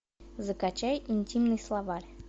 закачай интимный словарь